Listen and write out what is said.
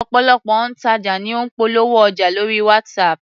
Ọ̀pọ̀lọpọ̀ òǹtajà ní ń polówó ọjà lórí WhatsApp